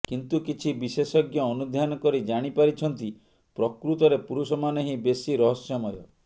କିନ୍ତୁ କିଛି ବିଶେଷଜ୍ଞ ଅନୁଧ୍ୟାନ କରି ଜାଣିପାରିଛନ୍ତି ପ୍ରକୃତରେ ପୁରୁଷମାନେ ହିଁ ବେଶୀ ରହସ୍ୟମୟ